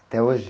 Até hoje?